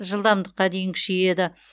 жылдамдыққа дейін күшейеді